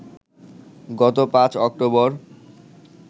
গত ৫ অক্টোবর